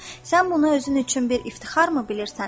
Sən bunu özün üçün bir iftixarmı bilirsən?